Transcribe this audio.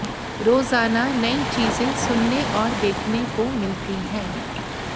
रोजाना नई चीजों सुनने और देखने को मिलती है